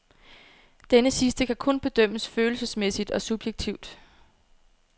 Denne sidste kan kun bedømmes følelsesmæssigt og subjektivt.